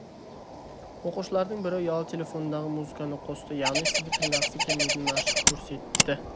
оқушылардың бірі ұялы телефонындағы музыканы қосты яғни сізді тыңдағысы келмейтінін ашық көрсетті